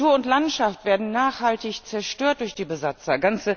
Natur und Landschaft werden nachhaltig zerstört durch die Besatzer.